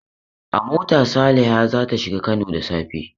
A mota Saliha za ta shiga Kano da safe.